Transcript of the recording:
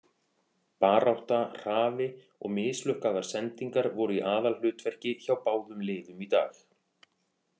Barátta, hraði, og mislukkaðar sendingar voru í aðalhlutverki hjá báðum liðum í dag.